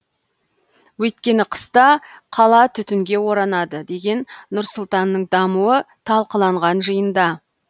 өйткені қыста қала түтінге оранады деген нұр сұлтанның дамуы талқыланған жиында